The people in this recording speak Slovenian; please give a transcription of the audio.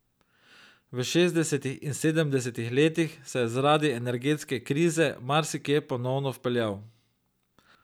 V šestdesetih in sedemdesetih letih se je zaradi energetske krize marsikje ponovno vpeljal.